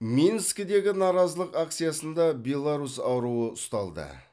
минскідегі наразылық акциясында беларусь аруы ұсталды